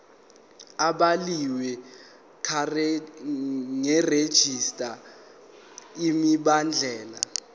ebhaliwe karegistrar imibandela